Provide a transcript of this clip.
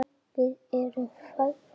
Við erum fegnar.